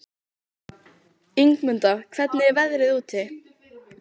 Ingimunda, hvernig er veðrið úti?